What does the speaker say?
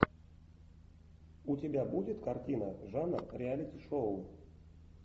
у тебя будет картина жанр реалити шоу